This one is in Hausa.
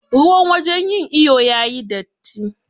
Ruwan wajen yin iyo yayi datti.